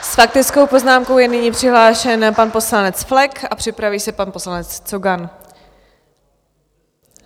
S faktickou poznámkou je nyní přihlášen pan poslanec Flek a připraví se pan poslanec Cogan.